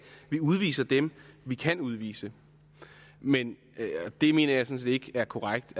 vi udviser dem vi kan udvise men det mener jeg sådan set ikke er korrekt